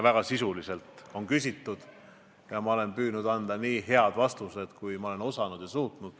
Väga sisuliselt on küsitud ja ma olen püüdnud anda nii head vastused, kui ma olen osanud anda.